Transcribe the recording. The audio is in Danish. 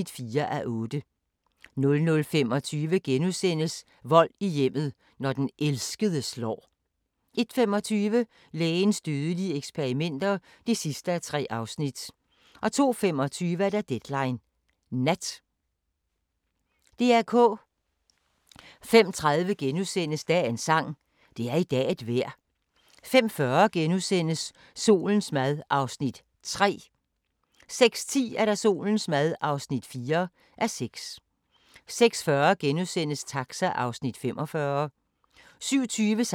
05:30: Dagens sang: Det er i dag et vejr * 05:40: Solens mad (3:6)* 06:10: Solens mad (4:6) 06:40: Taxa (45:56)* 07:20: Taxa (46:56) 08:25: Dagens sang: Se, nu stiger solen 08:45: Hvornår var det nu, det var? * 09:15: Hvornår var det nu, det var? * 09:45: Smag på Danmark – med Meyer (9:13)* 10:15: Smag på Danmark – med Meyer (10:13)